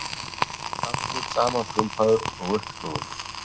allur samankrumpaður og uppsnúinn.